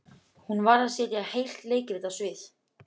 Hún varð að setja heilt leikrit á svið.